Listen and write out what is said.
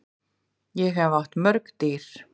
Ég hef átt mörg dýr.